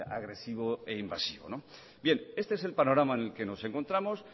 agresivo e invasivo bien este es el panorama en el que nos encontramos